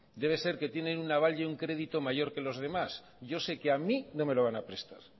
debe ser que tienen un aval y un crédito mayor que los demás yo sé que a mí no me lo van a prestar